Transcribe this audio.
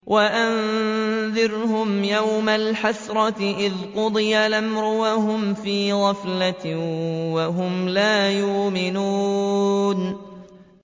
وَأَنذِرْهُمْ يَوْمَ الْحَسْرَةِ إِذْ قُضِيَ الْأَمْرُ وَهُمْ فِي غَفْلَةٍ وَهُمْ لَا يُؤْمِنُونَ